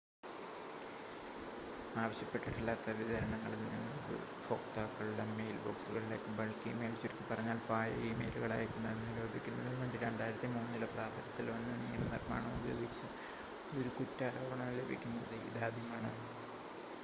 ആവശ്യപ്പെട്ടിട്ടില്ലാത്ത വിതരണങ്ങളിൽനിന്ന് ഉപയോക്താക്കളുടെ മെയിൽ ബോക്സുകളിലേക്ക് ബൾക്ക് ഇ-മെയിൽ ചുരുക്കിപ്പറഞ്ഞാൽ പാഴ്മെയിലുകൾ അയക്കുന്നത് നിരോധിക്കുന്നതിനുവേണ്ടി 2003 ൽ പ്രാബല്യത്തിൽവന്ന നിയമനിർമ്മാണം ഉപയോഗിച്ച് ഒരു കുറ്റാരോപണം ലഭിക്കുന്നത് ഇതാദ്യമാണ്